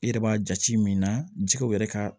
I yɛrɛ b'a jate min na jɛgɛw yɛrɛ ka